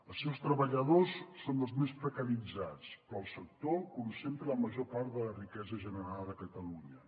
els seus treballadors són els més precaritzats però el sector concentra la major part de la riquesa generada a catalunya